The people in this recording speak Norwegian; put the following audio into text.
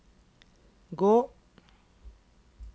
gå